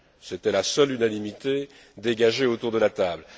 C'était la seule unanimité dégagée autour de la table.